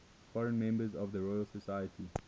foreign members of the royal society